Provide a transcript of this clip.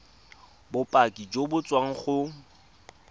bopaki jo bo tswang go